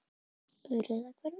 Urðarhvarfi